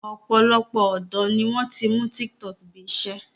Ọ̀pọ̀lọpọ̀ ọ̀dọ́ ni wọ́n ti mú tiktok bí i iṣẹ́